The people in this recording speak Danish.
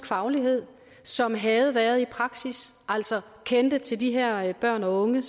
faglighed som havde været i praksis altså kendte til de her børn og unge